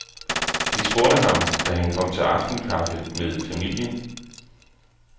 De spurgte ham, da han kom til aftenkaffe med familien.